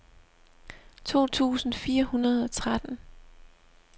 to tusind fire hundrede og tretten